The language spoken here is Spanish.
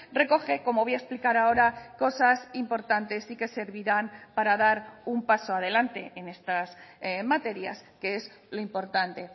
recoge como voy a explicar ahora cosas importantes y que servirán para dar un paso adelante en estas materias que es lo importante